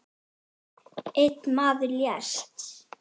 Einn maður lést.